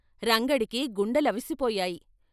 రంగడికి గుండెలవిసిపోయాయి.